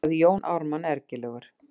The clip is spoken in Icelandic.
sagði Jón Ármann ergilegur.